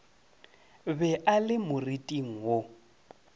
be a le moriting wo